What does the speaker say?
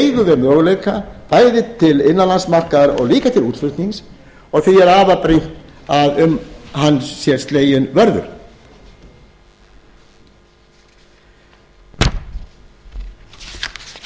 við möguleika bæði til innanlandsmarkaðar og líka til útflutnings og því er afar brýnt að um hann sé sleginn vörður þannig